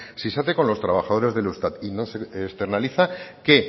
si se hace con los trabajadores del eustat y no se externaliza que